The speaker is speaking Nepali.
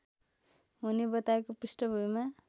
हुने बताएको पृष्ठभूमिमा